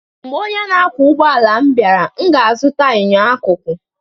Mgbe onye ọkwọ ụgbọala m bịara, m ga-azụta enyo akụkụ